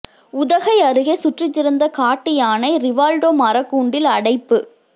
உதகை அருகே சுற்றித் திரிந்த காட்டு யானை ரிவால்டோ மரக்கூண்டில் அடைப்பு